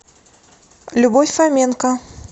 любовь фоменко